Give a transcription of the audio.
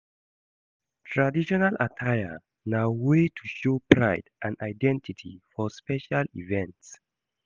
Traditional attire na way to show pride and identity for special events.